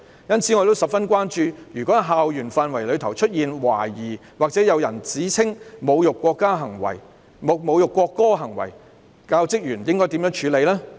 因此，我十分關注如果在校園範圍出現懷疑或有人指稱有侮辱國歌行為，教職員應該怎樣處理呢？